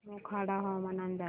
मोखाडा हवामान अंदाज